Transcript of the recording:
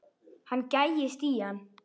Hann gægist í hann.